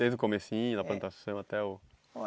Desde o comecinho, da plantação até o...